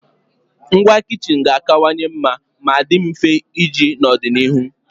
Ngwa kichin ga-akawanye mma ma dị mfe iji n'ọdịnihu